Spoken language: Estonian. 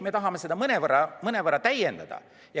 Me tahame seda mõnevõrra täiendada.